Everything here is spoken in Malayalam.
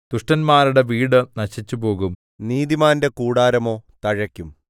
ദുഷ്ടന്മാരുടെ വീട് നശിച്ചുപോകും നീതിമാന്റെ കൂടാരമോ തഴയ്ക്കും